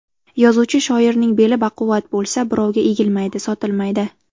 Yozuvchi shoirning beli baquvvat bo‘lsa, birovga egilmaydi, sotilmaydi .